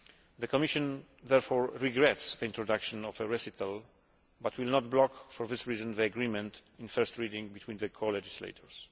The Commission therefore regrets the introduction of the recital, but will not block for this reason the agreement in first reading between the colegislators.